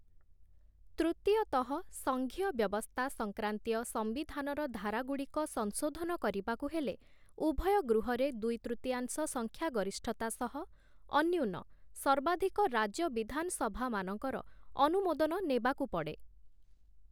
ତୃତୀୟତଃ, ସଙ୍ଘୀୟ ବ୍ୟବସ୍ଥା ସଂକ୍ରାନ୍ତୀୟ ସମ୍ବିଧାନର ଧାରାଗୁଡ଼ିକ ସଂଶୋଧନ କରିବାକୁ ହେଲେ ଉଭୟ ଗୃହରେ ଦୁଇ ତୃତୀୟାଂଶ ସଂଖ୍ୟା ଗରିଷ୍ଠତା ସହ, ଅନ୍ୟୁନ ସର୍ବାଧିକ ରାଜ୍ୟ ବିଧାନ ସଭାମାନଙ୍କର ଅନୁମୋଦନ ନେବାକୁ ପଡ଼େ ।